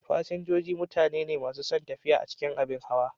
Fasinjoji mutane ne masu son tafiya a cikin abin hawa.